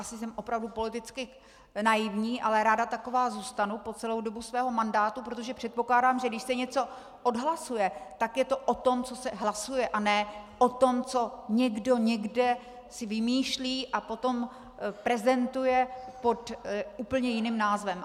Asi jsem opravdu politicky naivní, ale ráda takovou zůstanu po celou dobu svého mandátu, protože předpokládám, že když se něco odhlasuje, tak je to o tom, co se hlasuje, a ne o tom, co někdo někde si vymýšlí a potom prezentuje pod úplně jiným názvem.